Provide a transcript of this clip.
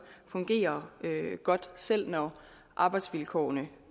fungerer godt selv når arbejdsvilkårene